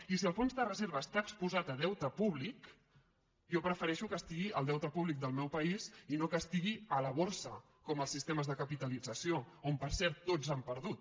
i si el fons de reserva està exposat a deute públic jo prefereixo que estigui al deute públic del meu país i no que estigui a la borsa com els sistemes de capitalització on per cert tots han perdut